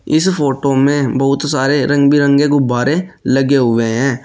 इस फोटो में बहुत सारे रंग बिरंगे गुब्बारे लगे हुए हैं।